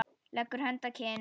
Leggur hönd að kinn.